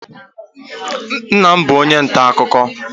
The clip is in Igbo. nna m bu onye nta-akụkọ